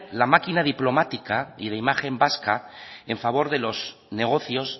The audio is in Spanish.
la maquina diplomática y de imagen vasca en favor de los negocios